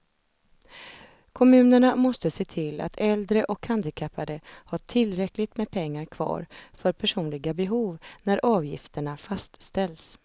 Kommunerna måste se till att äldre och handikappade har tillräckligt med pengar kvar för personliga behov när avgifterna fastställs.